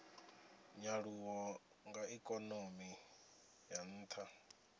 nyaluwo ya ikonomi ya ntha